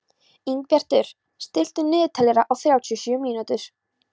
Ingibjartur, stilltu niðurteljara á þrjátíu og sjö mínútur.